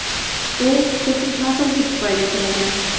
U texnik nosozlik tufayli qulagan.